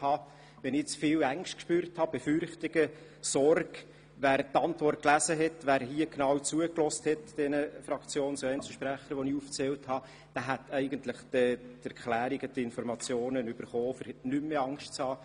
Wer die Regierungsantwort gelesen und den erwähnten Sprechern genau zugehört hat, müsste eigentlich keine Angst mehr haben, denn darin sind alle Informationen und Erklärungen dazu vorhanden.